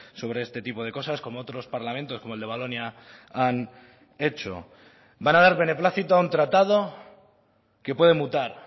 sobre este tipo de cosas como otros parlamentos como el de valonia han hecho van a dar beneplácito a un tratado que puede mutar